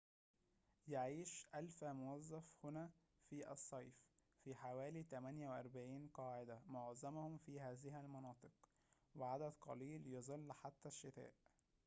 يعيش ألفا موظفٍ هنا في الصيف في حوالي 48 قاعدة معظمهم في هذه المناطق وعدد قليل يظل حتى الشتاء